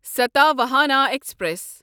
Satavahana express